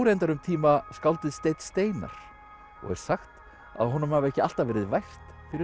reyndar um tíma skáldið Steinn Steinarr og er sagt að honum hafi ekki alltaf verið vært fyrir